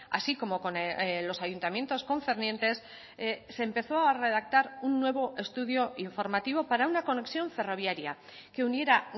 así como con los ayuntamientos concernientes se empezó a redactar un nuevo estudio informativo para una conexión ferroviaria que uniera